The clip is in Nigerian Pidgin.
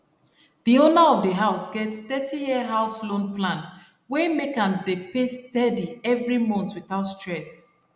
di owner of di house get 30year house loan plan wey make am dey pay steady every month without stress